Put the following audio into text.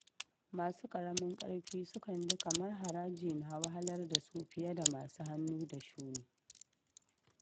Masu karamin karfi sukan ji kamar haraji na wahalar da su fiye da masu hannu da shuni.